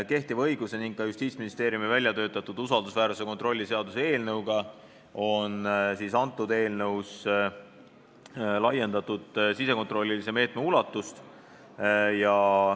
Kehtiva õiguse ning ka Justiitsministeeriumi väljatöötatud usaldusväärsuse kontrolli seaduse eelnõuga võrreldes on eelnõus 783 SE taustakontrolli kui sisekontrollilise meetme ulatust oluliselt laiendatud.